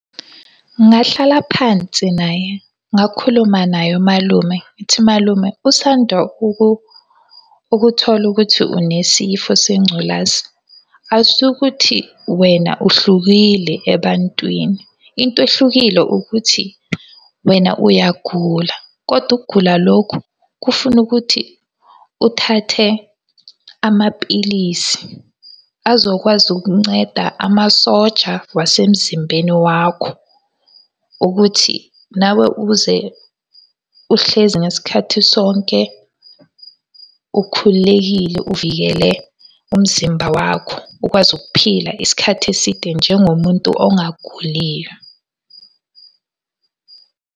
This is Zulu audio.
Ngingahlala phansi naye, ngakhuluma naye umalume, ngithi malume usanda ukuthola ukuthi unesifo sengculazi, akusikho ukuthi wena uhlukile ebantwini. Into ehlukile ukuthi, wena uyagula, kodwa ukugula lokhu kufuna ukuthi uthathe amapilisi azokwazi ukunceda amasoja wasemzimbeni wakho ukuthi nawe uze uhlezi ngesikhathi sonke ukhululekile uvikele umzimba wakho, ukwazi ukuphila isikhathi eside njengomuntu ogaguliyo.